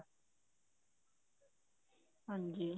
ਹਾਂਜੀ